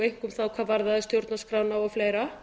einkum þá hvað varðaði stjórnarskrána og fleira